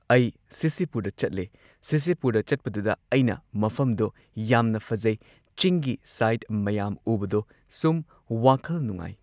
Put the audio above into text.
ꯑꯩ ꯁꯤꯁꯤꯄꯨꯔꯗ ꯆꯠꯂꯦ ꯁꯤꯁꯤꯄꯨꯔꯗ ꯆꯠꯄꯗꯨꯗ ꯑꯩꯅ ꯃꯐꯝꯗꯣ ꯌꯥꯝꯅ ꯐꯖꯩ ꯆꯤꯡꯒꯤ ꯁꯥꯏꯠ ꯃꯌꯥꯝ ꯎꯕꯗꯣ ꯁꯨꯝ ꯋꯥꯈꯜ ꯅꯨꯉꯥꯏ꯫